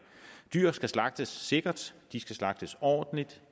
dyr skal slagtes sikkert de skal slagtes ordentligt